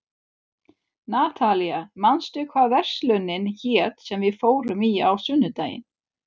Natalía, manstu hvað verslunin hét sem við fórum í á sunnudaginn?